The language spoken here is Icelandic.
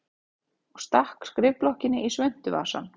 Og stakk skrifblokkinni í svuntuvasann.